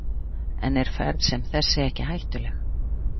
En er ferð sem þessi ekki hættuleg?